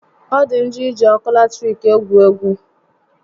Ọ dị njọ iji ọkụ latiriki égwu egwú